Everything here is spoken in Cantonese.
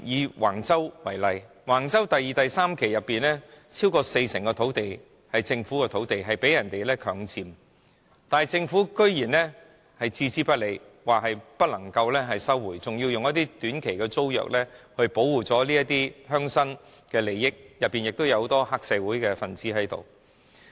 以橫洲為例，橫洲第二、三期發展所涉及的土地中，超過四成是屬於政府土地，並且被人強佔，但政府居然置之不理，表示不能收回，更以短期租約形式租出，以保護這些鄉紳的利益，所涉及的人當中，有很多是黑社會分子。